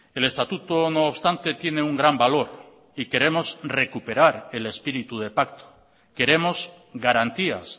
el estatuto no obstante tiene un gran valor y queremos recuperar el espíritu de pacto queremos garantías